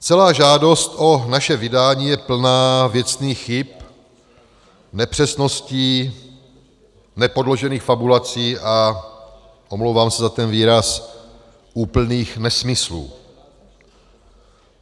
Celá žádost o naše vydání je plná věcných chyb, nepřesností, nepodložených fabulací a - omlouvám se za ten výraz - úplných nesmyslů.